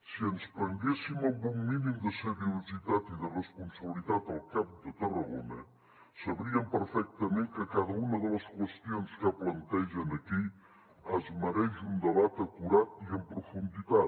si ens prenguéssim amb un mínim de seriositat i de responsabilitat el camp de tarragona sabrien perfectament que cada una de les qüestions que plantegen aquí es mereix un debat acurat i en profunditat